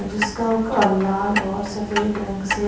जिसका क लाल और सफेद रंग से--